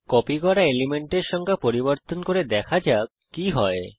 copy করা এলিমেন্টের সংখ্যা পরিবর্তন করে দেখা যাক কি হয়